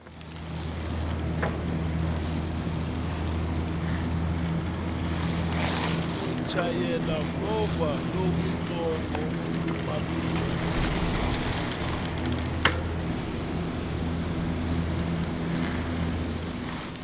ku chayela movha lowutsongo papila